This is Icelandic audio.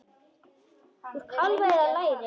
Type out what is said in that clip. Úr kálfa eða læri!